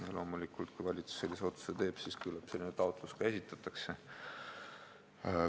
Ja loomulikult, kui valitsus sellise otsuse teeb, siis küllap selline taotlus ka esitatakse.